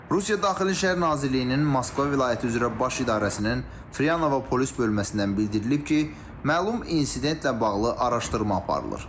Rusiya Daxili İşlər Nazirliyinin Moskva vilayəti üzrə Baş İdarəsinin Fryanovo polis bölməsindən bildirilib ki, məlum insidentlə bağlı araşdırma aparılır.